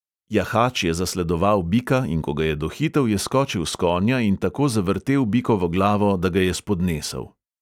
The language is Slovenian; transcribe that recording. Jahač je zasledoval bika, in ko ga je dohitel, je skočil s konja in tako zavrtel bikovo glavo, da ga je spodnesel.